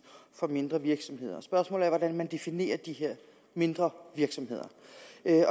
for mindre virksomheder spørgsmålet er hvordan man definerer de her mindre virksomheder